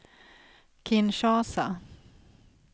Kinshasa